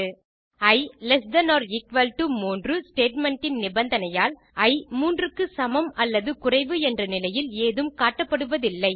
E less than or equal to 3 statement இன் நிபந்தனையால் i 3 க்கு சமம் அல்லது குறைவு என்ற நிலையில் ஏதும் காட்டப்படுவதில்லை